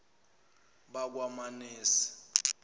bakwamanase